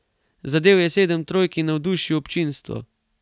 Zadel je sedem trojk in navdušil občinstvo.